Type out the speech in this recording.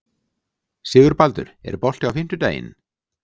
Sigurbaldur, er bolti á fimmtudaginn?